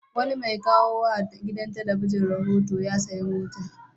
Wani mai kawo wa gidan talabijin rahoto ya sayi mota.